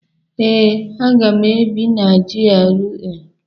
Ee, aga m ebi na GRA